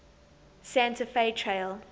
santa fe trail